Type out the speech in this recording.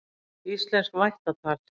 Íslenskt vættatal.